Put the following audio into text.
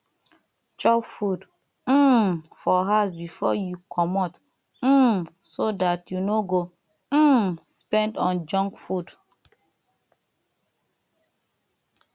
chop food um for house before you comot um so dat you no go um spend on junk food